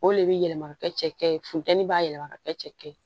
O de bɛ yɛlɛma ka kɛ cɛkɛ ye funteni b'a yɛlɛma ka kɛ cɛkɛ ye